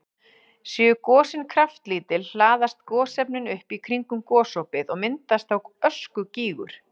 Séu gosin kraftlítil hlaðast gosefnin upp í kringum gosopið og myndast þá öskugígur.